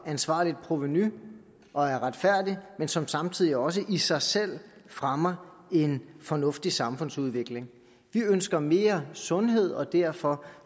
ansvarligt provenu og er retfærdig men som samtidig også i sig selv fremmer en fornuftig samfundsudvikling vi ønsker mere sundhed og derfor